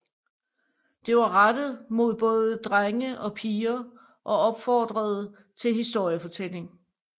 Det var rettet mod både drenge og piger og opfordrede til historiefortælling